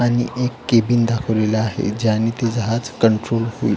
आणि एक केबिन दाखवलेलं आहे ज्याने ते जहाज कंट्रोल होईल.